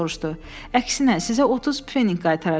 Əksinə, sizə 30 peninq qaytaracam.